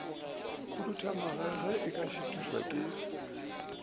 khuduga ge a šuthišwa ke